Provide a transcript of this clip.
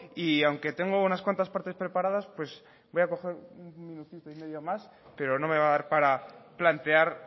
y aunque tengo unas cuantas partes preparadas pues voy a coger un minutito y medio más pero no me va a dar para plantear